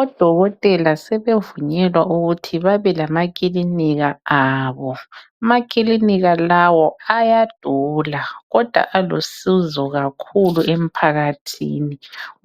Odokotela sebevunyelwa ukuthi babe lamakilinika abo amakilinika lawo ayadula kodwa alusizo kakhulu emphakathini